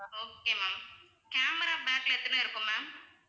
okay ma'am camera back ல எத்தனை இருக்கும் ma'am